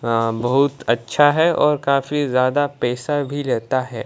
अ बहुत अच्छा है और काफी ज्यादा पैसा भी लेता है।